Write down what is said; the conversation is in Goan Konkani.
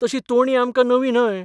तशी तोणी आमकां नवी न्हय.